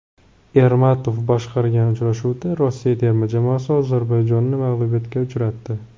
Ermatov boshqargan uchrashuvda Rossiya terma jamoasi Ozarbayjonni mag‘lubiyatga uchratdi.